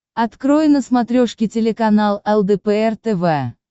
открой на смотрешке телеканал лдпр тв